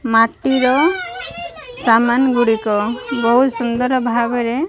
ମାଟିର ଗୁଡ଼ିକ ବୋହୁତ ସୁନ୍ଦର ଭାବରେ --